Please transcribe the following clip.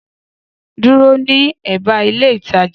Dúró ní èbá ilé ìtajà